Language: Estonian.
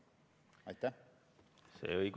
Aitäh!